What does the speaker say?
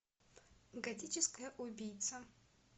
готическая убийца